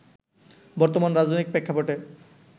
বর্তমান রাজনৈতিক প্রেক্ষাপটে